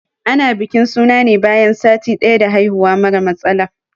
Ana bikin suna ne bayan sati daya da haihuwa mara matsala.